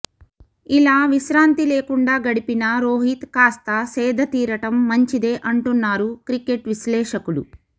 ఇలా విశ్రాంతి లేకుండా గడిపిన రోహిత్ కాస్త సేదతీరడం మంచిదే అంటున్నారు క్రికెట్ విశ్లేషకులు